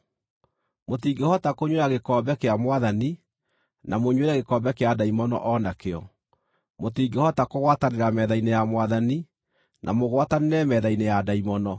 Mũtingĩhota kũnyuĩra gĩkombe kĩa Mwathani, na mũnyuĩre gĩkombe kĩa ndaimono o nakĩo; mũtingĩhota kũgwatanĩra metha-inĩ ya Mwathani, na mũgwatanĩre metha-inĩ ya ndaimono.